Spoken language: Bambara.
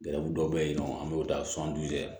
dɔ bɛ yen nɔ an bɛ taa